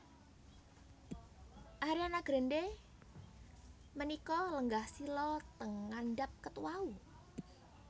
Ariana Grande menika lenggah sila teng ngandhap ket wau